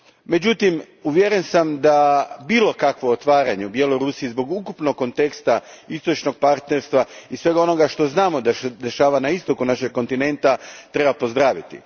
Međutim, uvjeren sam da bilo kakvo otvaranje u Bjelorusiji zbog ukupnog konteksta Istočnog partnerstva i svega onoga što znamo da se dešava na istoku našeg kontinenta treba pozdraviti.